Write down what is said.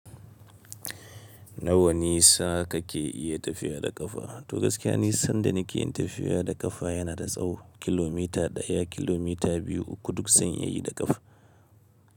Nawa nisa kake iya tafiya da ƙafa? To gaskiya ni sanda neke tafiya da ƙafa yana da tsawo. Kilomita ɗaya, kilomita biyu uku duk zan iyayi da ƙafa.